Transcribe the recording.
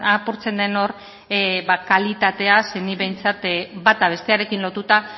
apurtzen den hor kalitatea ze nik behintzat bata bestearekin lotuta